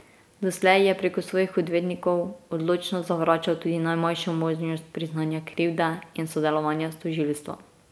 Doslej je preko svojih odvetnikov odločno zavračal tudi najmanjšo možnost priznanja krivde in sodelovanja s tožilstvom.